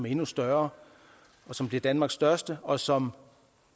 endnu større som bliver danmarks største og som